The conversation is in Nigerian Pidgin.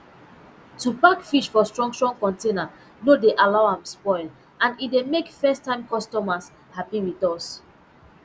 to pack fish for strong strong container no dey allow am spoil and e dey make first time customers happy with us